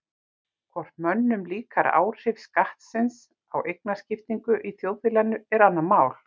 Hvort mönnum líkar áhrif skattsins á eignaskiptingu í þjóðfélaginu er annað mál.